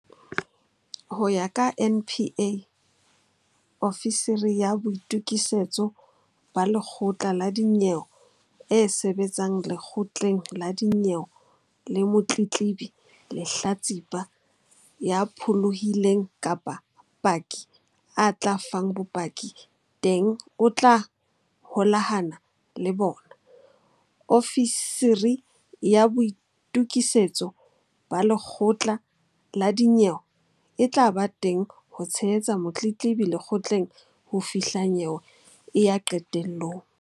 Ho ya ka NPA, ofisiri ya boitu-kisetso ba lekgotla la dinyewe e sebetsang lekgotleng la dinyewe le motletlebi, lehlatsipa, ya pholohileng kapa paki a tla fang bopaki teng o tla holahana le bona. Ofisiri ya boitokisetso ba lekgotla la dinyewe e tla ba teng ho tshehetsa motletlebi lekgotleng ho fihla nyewe e ya qetelong.